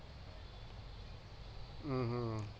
উহ হম